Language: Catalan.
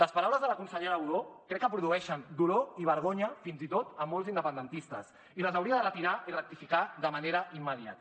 les paraules de la consellera budó crec que produeixen dolor i vergonya fins i tot a molts independentistes i les hauria de retirar i rectificar de manera immediata